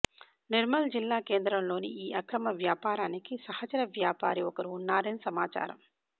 నిర్మల్ జిల్లా కేంద్రంలోని ఈ అక్రమ వ్యాపారానికి సహచర వ్యాపారి ఒకరు ఉన్నారని సమాచారం